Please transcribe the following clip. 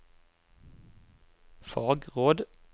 fagråd